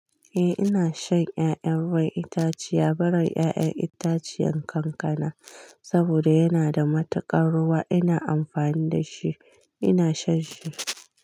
Eh ina shan ƴaƴan ruwan itaciya, barin ƴaƴan itaciyan kankana saboda yana da matakan ruwa ina amfani dashi ina shan shi.